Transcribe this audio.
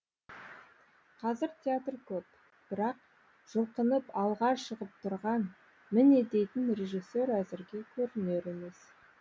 қазір театр көп бірақ жұлқынып алға шығып тұрған міне дейтін режиссер әзірге көрінер емес